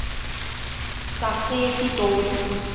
sasepitoli